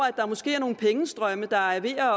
at der måske er nogle pengestrømme der er ved at